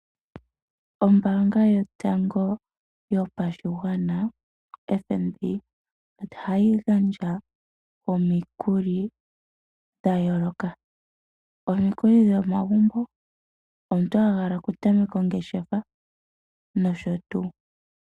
Ombaanga yotango yopashigwana FNB ohayi gandja omikuli dha yooloka. Omikuli dhomagumbo, omuntu a hala oku tameka ongeshefa nosho tuu.